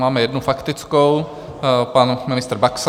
Máme jednu faktickou - pan ministr Baxa.